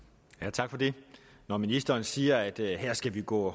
tak for det når ministeren siger at vi her skal gå